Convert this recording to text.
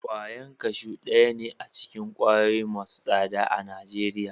Kwayan kashu daya ne acikin kwayoyi Masu saɗa a nageriya